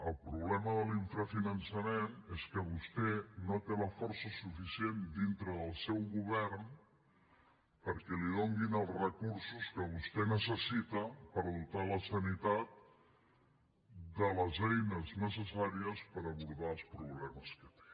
el problema de l’infrafinançament és que vostè no té la força suficient dintre del seu govern perquè li donin els recursos que vostè necessita per dotar la sanitat de les eines necessàries per abordar els problemes que té